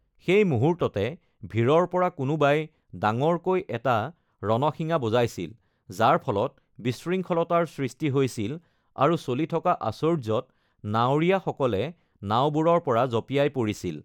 সেই মুহূৰ্ততে ভিৰৰ পৰা কোনোবাই ডাঙৰকৈ এটা ৰণশিঙা বজাইছিল, যাৰ ফলত বিশৃংখলতাৰ সৃষ্টি হৈছিল আৰু চলি থকা আশ্চৰ্যত, নাৱৰীয়াসকলে নাওবোৰৰ পৰা জঁপিয়াই পৰিছিল।